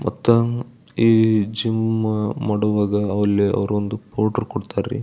ಮತ್ತ ಈ ಜಿಮ್ ಮಾಡುವಾಗ ಅಲ್ಲಿ ಅವರೊಂದು ಪೌಡರ್ ಕೊಡ್ತರ್ ರೀ.